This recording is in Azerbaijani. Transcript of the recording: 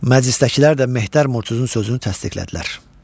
Məclisdəkilər də Mehtər Murtuzun sözünü təsdiqlədilər.